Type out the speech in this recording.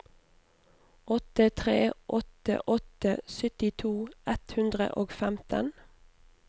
åtte tre åtte åtte syttito ett hundre og femten